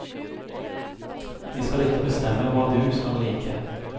De skal ikke bestemme hva du skal like.